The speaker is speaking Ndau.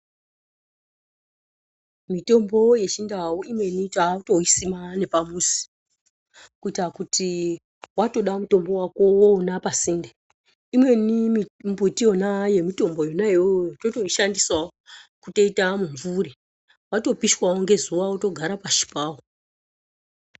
Mitombo yechindau imweni takutoisima nepamuzi. Kuita kuti watoda mutombo wako wouona pasinde. Imweni mbiti yemitombo yona iyoyo totoishandisawo kutoita mumvuri. Watopishwawo ngezuwa wotogara pashi pawo.